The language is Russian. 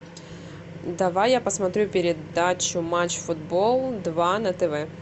давай я посмотрю передачу матч футбол два на тв